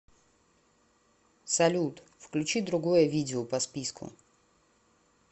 салют включи другое видео по списку